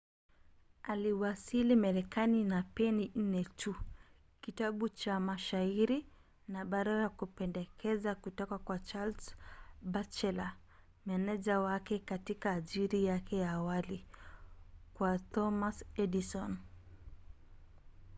aliwasili marekani na peni 4 tu kitabu cha mashairi na barua ya kupendekeza kutoka kwa charles batchelor meneja wake katika ajira yake ya awali kwa thomas edison